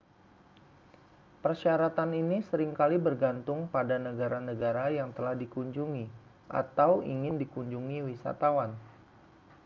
persyaratan ini sering kali bergantung pada negara-negara yang telah dikunjungi atau ingin dikunjungi wisatawan